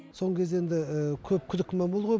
соңғы кезде енді көп күдік күмән болды ғой